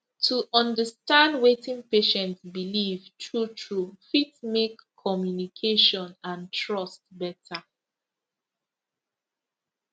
to understand wetin patient believe truetrue fit make communication and trust better